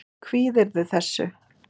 Kvíðirðu þessu?